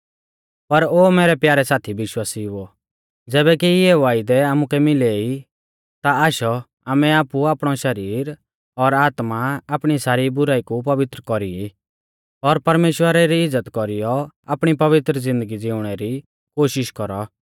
पर ओ मैरै प्यारै साथी विश्वासिउओ ज़ैबै कि इऐ वायदै आमुकै मिलै ई ता आशौ आमै आपु आपणौ शरीर और आत्मा आपणी सारी बुराई कु पवित्र कौरी ई और परमेश्‍वरा री इज़्ज़त कौरीयौ आपणी पवित्र ज़िन्दगी ज़िउणै री कोशिष कौरौ